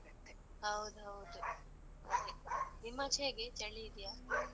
ಹೌದೌದು, ಅದೆ ನಿಮ್ಮಚೇ ಹೇಗೆ, ಚಳಿ ಇದ್ಯಾ?